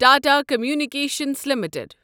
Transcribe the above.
Tata communications limited